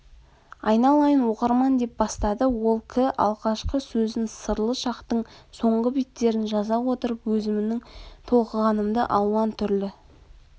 айналайын окырман деп бастады ол кі алғашкы сөзін сырлы шактың соңғы беттерін жаза отырып өзімнің толқығанымды алуан түрлі